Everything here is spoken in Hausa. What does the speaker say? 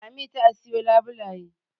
Lami ta siyo labulaye